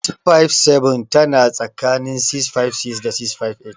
657 tana tsakanin 656 da 658.